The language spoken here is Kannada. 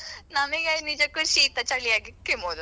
ಈಗ ಒಂದು ಕೆಮ್ಮಿದ್ರು office ಗೆ ಹೆದ್ರಿಕ್ಕೆ Covid ಆ ಅಂತ.